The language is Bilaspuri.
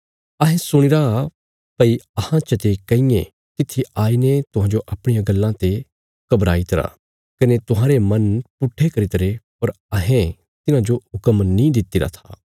अहें सुणीरा भई अहां चते कंईंयें तित्थी आईने तुहांजो अपणियां गल्लां ते घबराई तरा कने तुहांरे मन पुट्ठे करी तरे पर अहें तिन्हांजो हुक्म नीं दित्तिरा था